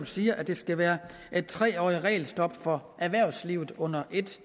siger at det skal være et tre årig t regelstop for erhvervslivet under et